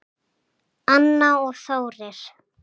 Anna og Þórir.